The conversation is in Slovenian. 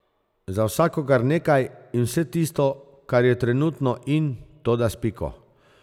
Za vsakogar nekaj in vse tisto, kar je trenutno in, toda s piko.